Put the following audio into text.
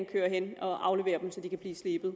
køre hen for at aflevere dem så de kan blive slebet